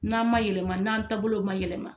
N'an ma yɛlɛma n'an taabolow ma yɛlɛma